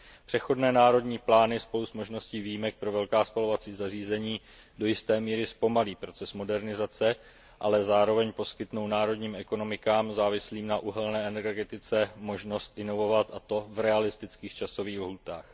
Přechodné národní plány spolu s možností výjimek pro velká spalovací zařízení do jisté míry zpomalí proces modernizace, ale zároveň poskytnou národním ekonomikám závislým na uhelné energetice možnost zajistit modernizaci, a to v reálných časových lhůtách.